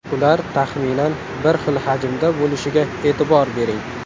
Ular taxminan bir xil hajmda bo‘lishiga e’tibor bering.